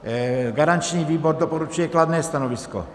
Garanční výbor doporučuje kladné stanovisko.